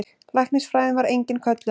Læknisfræðin var engin köllun.